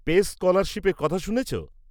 -Pace স্কলারশিপের কথা শুনেছ?